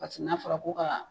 Paseke n'a fɔra ko ka